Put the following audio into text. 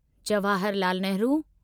Jawahar Lal Nehru